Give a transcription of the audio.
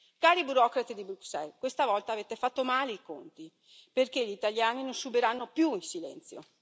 Cari burocrati di Bruxelles, questa volta avete fatto male i conti, perché gli italiani non subiranno più in silenzio.